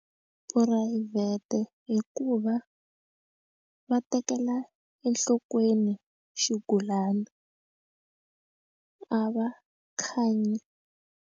Phurayivhete hikuva va tekela enhlokweni xigulana a va khanyi.